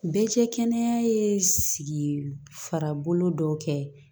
Bɛɛ cɛ kɛnɛya ye sigi fara bolo dɔw kɛ